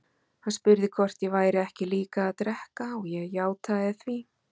Hann spurði hvort ég væri ekki líka að drekka og ég játaði því.